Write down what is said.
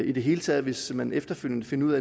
i det hele taget hvis man efterfølgende finder ud